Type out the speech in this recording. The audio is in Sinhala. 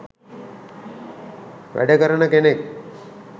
වැඩ කරන කෙනෙක්.